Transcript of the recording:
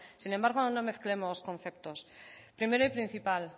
sin embargo no mezclemos conceptos primero y principal